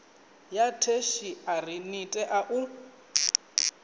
ya theshiari ḽi tea u